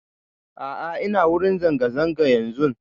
A'a ina wurin zanga zanga yanzun